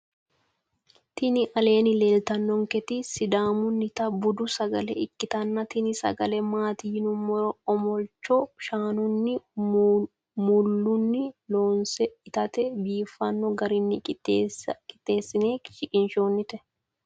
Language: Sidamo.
Tini aleeni leelitannoniket sidaamunita budu sagale ikitana tini sagale maati yinumoro omolicho shanunina maaluni loonise itate biifano garini qixesine shiqinishonite